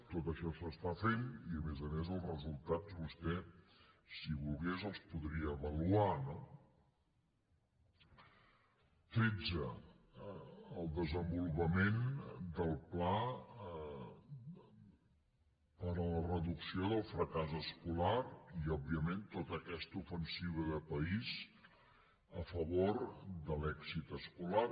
tot això s’està fent i a més a més els resultats vostè si volgués els podria avaluar no tretze el desenvolupament del pla per a la reducció del fracàs escolar i òbviament tota aquesta ofensiva de país a favor de l’èxit escolar